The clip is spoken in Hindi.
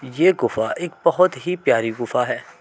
ये गुफा एक बहुत ही प्यारी गुफा है।